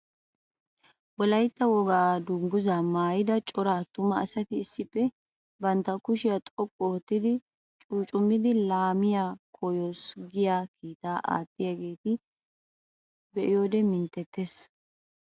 Wolaytta wogaa dungguza maayidda cora atumma asatti issippe bantta kushshiyaa xoqqu ootti cuccumidi laamiyaa koyossi giyaa kiittaa aattiyagetta be'iyodde mintettes.